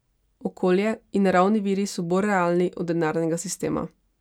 Okolje in naravni viri so bolj realni od denarnega sistema.